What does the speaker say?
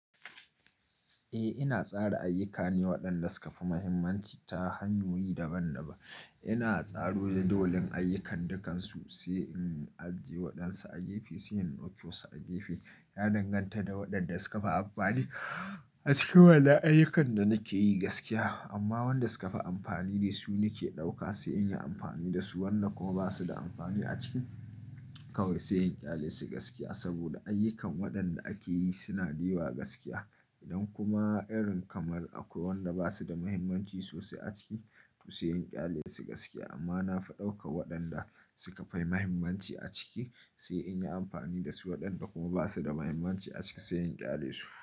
Eh ina tsara ayyuka ne waɗanda suka fi mahimmanci ta hanyoyi daban-daban ina tsaro da dolin ayyukan dukansu, sai in ajiye waɗansu a gefe, sai in ɗauki wasu a gefe. Ya danganta da waɗanda suka fi amfani a cikin wannan ayyukan da nake yi gaskiya. Amma wanda suka fi amfani dai su nake ɗauka sai in yi amfani da su, wanda kuma ba su da amfani a ciki kawai sai in ƙyale su gaskiya. Saboda ayyukan waɗanda ake yi suna da yawa gaskiya idan kuma irin kamar akwai waɗanda ba su da mahimmanci sosai a ciki, to sai in ƙyale su gaskiya. Amma na fi ɗaukar waɗanda suka fi mahimmanci a ciki sai in yi amfani da su, waɗanda kuma ba su da mahimmanci a ciki sai in ƙyale su.